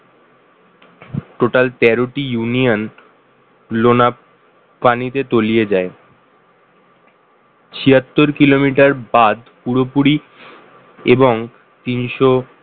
total তেরো টি union নোনা পানিতে তলিয়ে যায়, ছিয়াত্তর kilometer বাঁধ পুরোপুরি এবং তিনশো